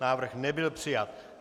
Návrh nebyl přijat.